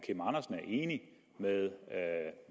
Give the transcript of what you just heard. enig med